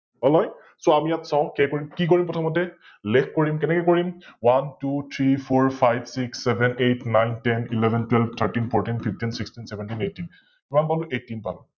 অলয়! So আমি ইয়াত চাও কে কৰিম, কি কৰিম প্ৰথমতে, Leg কৰিম, কেনেকৈ কৰিম? OneTwoThreeFourFiveSixSevenEightNineTenElevenTwelveThirteenFourteenFifteenSixteenSeventeenEighteen কিমান পালো? Eighteen পালো